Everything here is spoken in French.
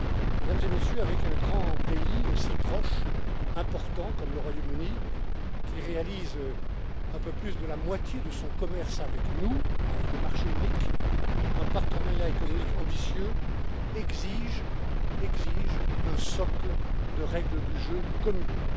Mesdames et Messieurs, avec un grand pays si proche, important comme le Royaume Uni, qui réalise un peu plus de la moitié de son commerce avec nous, avec le marché unique, un partenariat économique ambitieux exige un socle de règles du jeu communes.